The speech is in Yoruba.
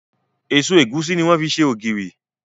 Èso ẹ̀gúsí ní wọ́n fi ṣe ògìrì.